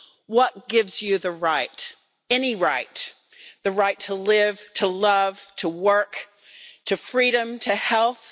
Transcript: What gives you the right any right the right to live, to love, to work, to freedom, to health?